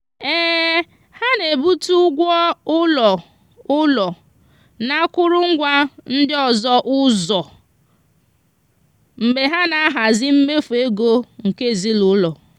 ha na-ebute ụgwọ ụlọ ụlọ na akụrụngwa ndị ọzọ ụzọ mgbe ha na-ahazi mmefu ego nke ezinụụlọ.